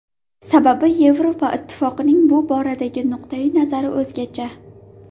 Sababi Yevropa Ittifoqining bu boradagi nuqtai nazari o‘zgacha.